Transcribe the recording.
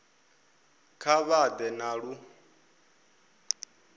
kha vha ḓe na lu